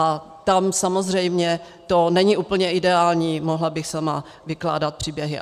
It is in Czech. A tam samozřejmě to není úplně ideální, mohla bych sama vykládat příběhy.